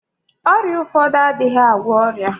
Ọrịa ụfọdụ adịghị agwọ ọrịa.